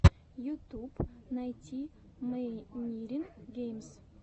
ютуб найти мэйнирин геймс